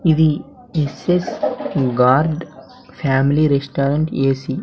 ఇది SS guard family restaurant AC .